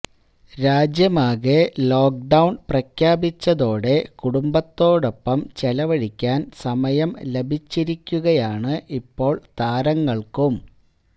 രാജ്യമാകെ lockdown പ്രഖ്യാപിച്ചതോടെ കുടുംബത്തോടൊപ്പം ചെലവഴിക്കാന് സമയം ലഭിച്ചിരിക്കുകയാണ് ഇപ്പോൾ താരങ്ങൾക്കും